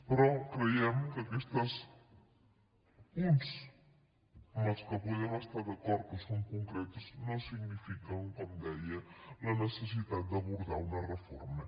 però creiem que aquests punts en què podem estar d’acord que són concrets no signifiquen com deia la necessitat d’abordar una reforma